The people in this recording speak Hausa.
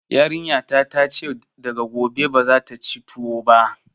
Yarinya ta ta ce daga gobe bazata ci tuwo ba